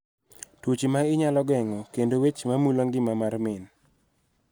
Tuoche ma inyalo geng�o, kod weche mamulo ngima mar min.